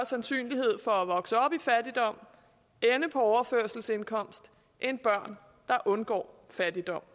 sandsynlighed for at vokse op i fattigdom og ende på overførselsindkomst end børn der undgår fattigdom